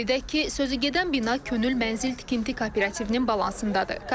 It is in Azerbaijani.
Qeyd edək ki, sözügedən bina könül mənzil tikinti kooperativinin balansındadır.